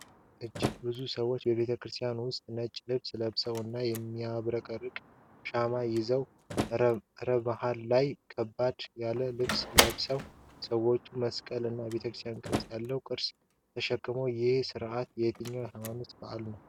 እጅግ ብዙ ሰዎች በቤተክርስቲያን ውስጥ ነጭ ልብስ ለብሰው እና የሚያብረቀርቁ ሻማዎችን ይዘዋል። ረ በመሃል ላይ፣ ከበድ ያለ ልብስ የለበሱ ሰዎች መስቀል እና የቤተመቅደስ ቅርጽ ያላቸውን ቅርሶች ተሸክመዋል። ይህ ሥርዓት የትኛው ሃይማኖታዊ በዓል ነው?